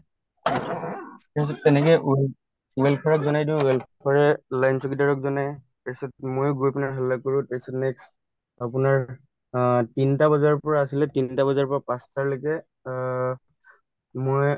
তেওঁ তেনেকে কৰি welfare ক জনাই দিওঁ welfare য়ে চকীদাৰক জনাই তাৰপিছত মই গৈ পিনে হাল্লা কৰো তাৰপিছত next আপোনাৰ অ তিনটা বজাৰ পৰা আছিলে তিনটা বজাৰ পৰা পাঁচটা লৈকে অ মই